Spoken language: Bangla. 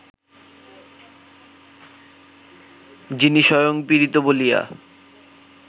যিনি স্বয়ং পীড়িত বলিয়া